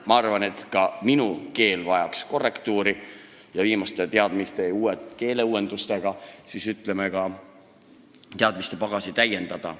Ma arvan, et ka minu keel vajaks korrektuuri, ka minu teadmistepagasit tuleks viimaste keeleuuendustega täiendada.